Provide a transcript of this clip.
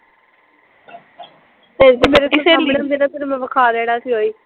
ਮੈਂ ਵਿਖਾ ਲੈਣਾ ਸੀ ਓਹੀ